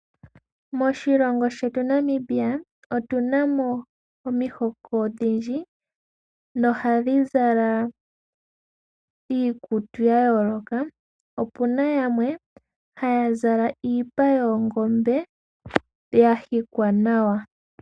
Moshilongo shetu Namibia, otunamo omihoko odhindji, nohadhi zala iikutu ya yooloka. Opuna yamwe haya zala iipa yoongombe, ya hikwa nawa.